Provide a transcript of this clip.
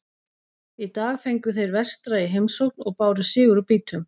Í dag fengu þeir Vestra í heimsókn og báru sigur úr býtum.